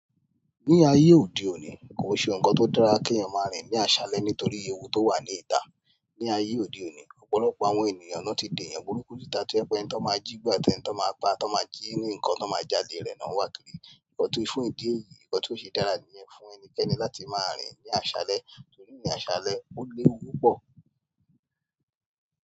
Ní ayé òde òní, kò n se ohun kan tó dára kí èèyàn máa rìn ní àṣálẹ́ nítorí ewu tó wà ní ìta. Ní ayé òde òní, ọ̀pọ̀lọpọ̀ àwọn ènìyàn náà ti dèyàn burúkú síta tí o je pe ẹni ti won máa jígbà àti ẹni tí wón máa pa tó máa jí ní nǹkan ti won máa jalè rẹ̀ náà wà kirí nkan tí fún ìdí èyí, nkan tí ó ṣe dára níyẹn fún ẹnikẹ́ni láti máa rìn ní àṣálẹ́ torí ní àṣálẹ́, ó léwu púpọ̀.